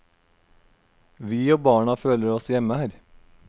Vi og barna føler oss hjemme her.